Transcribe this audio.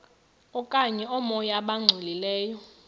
okanye oomoya abangcolileyo